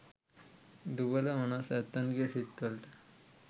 දුබල මනස් ඇත්තන්ගෙ සිත් වලට